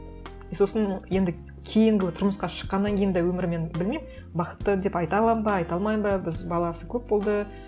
и сосын енді кейінгі тұрмысқа шыққаннан кейін де өмірі мен білмеймін бақытты деп айта аламын ба айта алмаймын ба біз баласы көп болды